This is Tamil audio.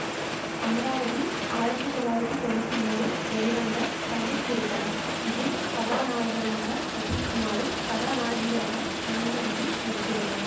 அமராவதி ஆயிரத்தி தொள்ளாயிரத்தி தொன்னூத்தி மூனில் வெளிவந்த தமிழ் திரைப்படம் இதில் கதாநாயகனாக அஜித்குமாரும் கதாநாயகியாக சங்கவியும் நடித்துள்ளனர்